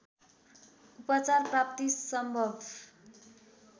उपचार प्राप्ति सम्भव